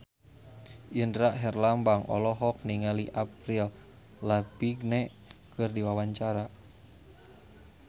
Indra Herlambang olohok ningali Avril Lavigne keur diwawancara